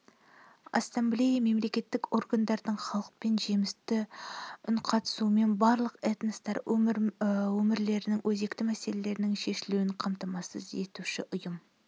ассамблея-мемлекеттік органдардың халықпен жемісті үнқатысуын барлық этностар өмірлерінің өзекті мәселелерінің шешілуін қамтамасыз етуші ұйым